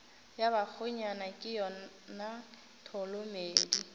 ya bakgonyana ke yona tholomedi